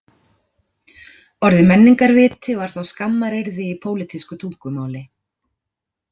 Orðið menningarviti var þá skammaryrði í pólítísku tungumáli